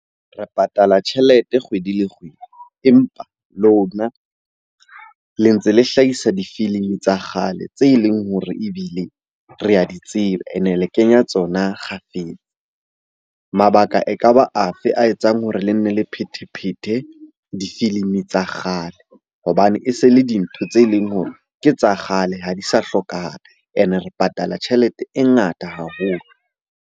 Re patala tjhelete kgwedi le kgwedi, empa lona le ntse le hlahisa difilimi tsa kgale tse leng hore ebile re a di tseba, ene le kenya tsona kgafetsa. Mabaka ekaba a fe a etsang hore le nne le phethe-phethe difilimi tsa kgale hobane e se le dintho tse leng hore ke tsa kgale ha di sa hlokahala. Ene re patala tjhelete e ngata haholo.